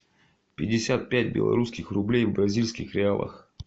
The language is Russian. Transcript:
пятьдесят пять белорусских рублей в бразильских реалах